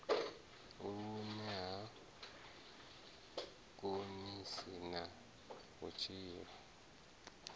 vhune ha konisa na vhutshilo